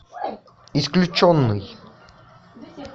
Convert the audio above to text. исключенный